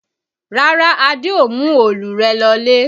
Rárá, Adé ò mú òòlù rẹ lọlé